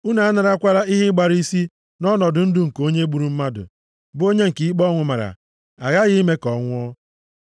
“ ‘Unu a narakwala ihe ịgbara isi nʼọnọdụ ndụ nke onye gburu mmadụ, bụ onye nke ikpe ọnwụ mara. Aghaghị ime ka ha nwụọ.